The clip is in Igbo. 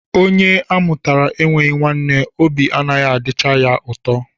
Onye a mụtara enweghị nwanne, obi anaghị adịcha ya ụtọ